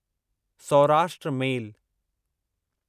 Saurashtra मेल